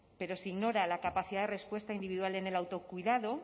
pero se ignora la capacidad de respuesta individual en el autocuidado